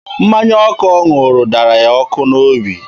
Mmanya ọkụ ọ ṅụrụ dara ya ọkụ n'obi.